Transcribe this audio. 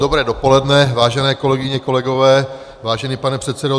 Dobré dopoledne, vážené kolegyně, kolegové, vážený pane předsedo.